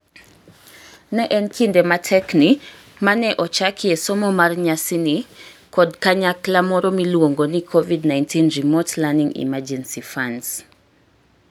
Ne en kinde matekni mane ochakie somo mar nyasani kod kanyakla moro miluongo ni Covid-19 Remote Learning Emergency Funds.